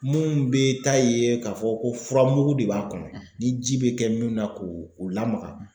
Mun be taa ye k'a fɔ ko fura mugu de b'a kɔnɔ ni ji bɛ kɛ min na k'o o lamaga